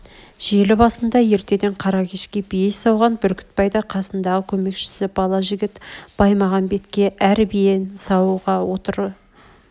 жел басында ертеден қара кешке бие сауған бүркітбай да қасындағы көмекшісі бала жігіт баймағамбетке әр биен саууға отыра